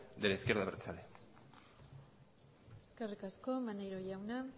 de la izquierda abertzale eskerrik asko maneiro jauna